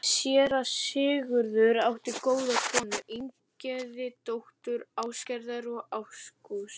Séra Sigurður átti góða konu, Ingigerði, dóttur Ásgerðar og Ágústs